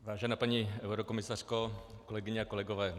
Vážená paní eurokomisařko, kolegyně a kolegové.